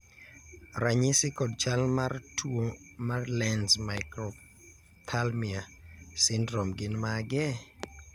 ranyisi kod chal mar tuo mar Lenz microphthalmia syndrome gin mage?